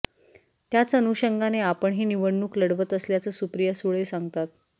त्याच अनुषंगाने आपण ही निवडणूक लढवत असल्याचं सुप्रिया सुळे सांगतात